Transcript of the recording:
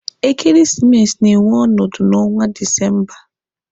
Ekeresimesi na-enwe ọnọdụ n'ọnwa Disemba.